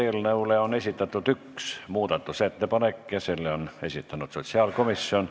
Eelnõu kohta on esitatud üks muudatusettepanek, selle on esitanud sotsiaalkomisjon.